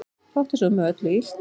Fátt er svo með öllu illt